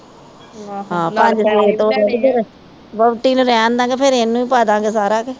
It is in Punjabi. ਪੰਜ ਛੇ ਤੋਲੇ, ਵੋਹਟੀ ਨੂੰ ਰਹਿਣ ਦਾ ਗੇ ਫਿਰ ਇਹਨੂੰ ਈ ਪਾਦਾਗੇ ਸਾਰਾ